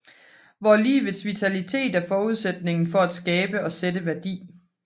Hvor livets vitalitet er forudsætningen for at skabe og sætte værdi